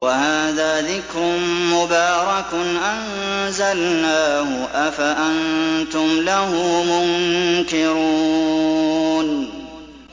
وَهَٰذَا ذِكْرٌ مُّبَارَكٌ أَنزَلْنَاهُ ۚ أَفَأَنتُمْ لَهُ مُنكِرُونَ